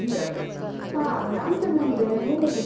ಹಾ ನಾನ್ ಚೆನ್ನಾಗಿದ್ದೇವೆ, ನೀವ್ ಹೇಗಿದ್ದೀರಿ?